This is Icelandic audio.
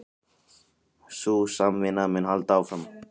Sú samvinna mun halda áfram